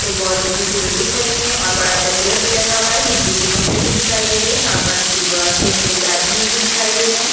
एक बहोत ऊँची सी बिल्डिंग बनी है और बड़ा सा पेड़ भी लगा हुआ है बिजली के खम्बे भी दिखाई दे रहै है यहाँ पर रस्ते में कुछ आदमी भी दिखाई दे रहै है।